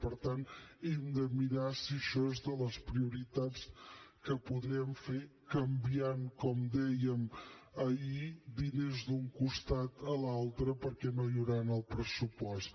per tant hem de mirar si això és de les prioritats que podrem fer canviant com dèiem ahir diners d’un costat a l’altre perquè no n’hi haurà en el pressupost